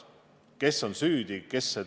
Kes on süüdi?